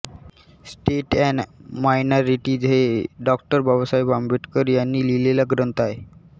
states and minorities हे Dr Babasaheb Ambedkar यांनी लिहिलेला एक ग्रंथ आहे